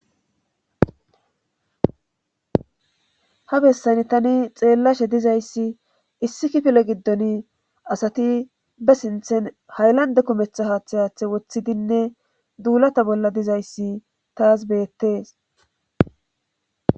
ha bessani tani xeellashe dizayssi issikipilo giddon asati be sinthen hayllande kumetha haaththayaaththe woththidinne duulata bolla dizayssi taas beyettees